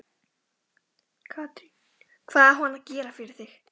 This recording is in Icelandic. Katrín: Hvað á hann að gera fyrir þig?